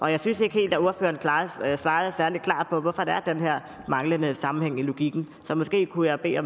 jeg synes ikke helt at ordføreren svarede særlig klart på hvorfor der er den her manglende sammenhæng i logikken så måske kunne jeg bede